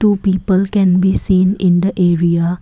two people can be seen in the area.